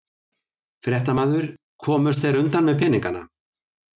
Fréttamaður: Komust þeir undan með peninga?